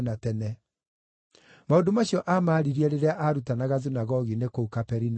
Maũndũ macio aamaaririe rĩrĩa aarutanaga thunagogi-inĩ kũu Kaperinaumu.